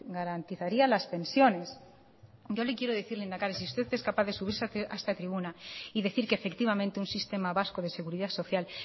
garantizaría las pensiones yo le quiero decir lehendakari si usted es capaz de subirse a esta tribuna y decir que efectivamente un sistema vasco de seguridad social